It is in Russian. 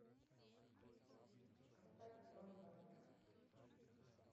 поставь дион варвик